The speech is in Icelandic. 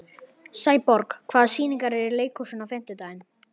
Sæborg, hvaða sýningar eru í leikhúsinu á fimmtudaginn?